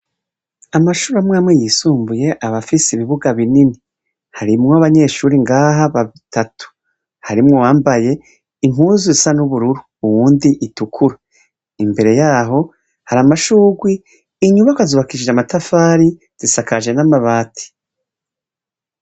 Amashuru amwamwe yisumbuye abafise ibibuga binini harimwo abanyeshuri ngaha batatu harimwo wambaye inkuzu isa n'ubururu wundi itukuru imbere yaho hari amashurwi inyubako azubakishije amatafari zisakaje n'amabati.